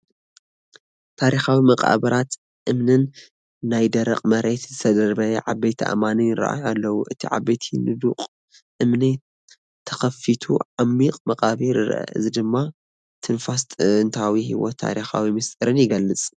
ታሪኻዊ መቓብራት እምኒን ናብ ደረቕ መሬት ዝተደርበዩ ዓበይቲ ኣእማንን ይራኣዩ ኣለው። እቲ ዓቢይ ንዱቕ እምኒ ተኸፊቱ ዓሚቝ መቓብር ይርአ፡ እዚ ድማ ትንፋስ ጥንታዊ ህይወትን ታሪካዊ ምስጢርን ይገልጽ።